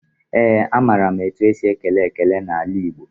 Ee, amaara m etu esi ekele ekele n'ala Igbo.